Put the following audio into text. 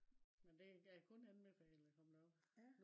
men det kan jeg kun anbefale at komme derop